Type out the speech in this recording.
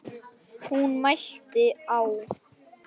Hún mælti: Á